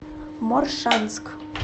моршанск